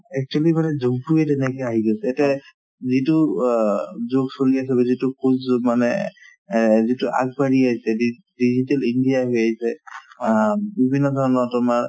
actually মানে যুগতোয়ে তেনেকা আহি গৈছে এতিয়া এই যিটো অ যুগ চলি আছে মানে অ যিটো আগবাঢ়ি আহিছে de~ digital india অ বিভিন্ন ধৰণৰ তোমাৰ